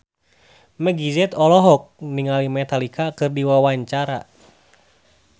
Meggie Z olohok ningali Metallica keur diwawancara